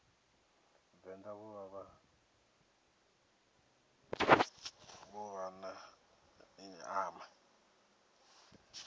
venḓa vho vha vho ḓiṱama